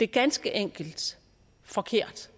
ganske enkelt forkert